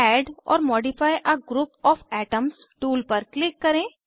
add or modify a group of atoms tool पर click करें